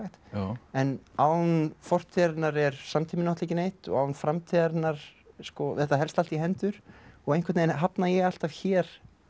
en án fortíðarinnar er samtíminn ekki neitt og án framtíðarinnar sko þetta helst allt í hendur og einhvern veginn hafna ég alltaf hér